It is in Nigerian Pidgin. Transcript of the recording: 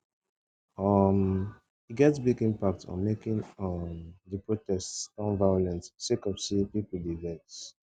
um e get big impact on making um di protests turn violent sake of say pipo dey vex